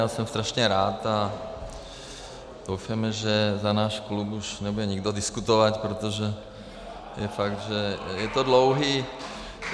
Já jsem strašně rád a doufejme, že za náš klub už nebude nikdo diskutovat , protože je fakt, že je to dlouhé.